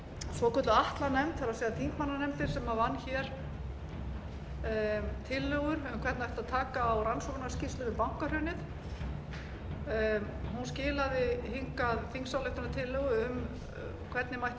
svokölluð atlanefnd það er þingmannanefndin sem vann tillögur um hvernig ætti að taka á rannsóknarskýrslunni við bankahrunið skilaði hingað þingsályktunartillögu um hvernig mætti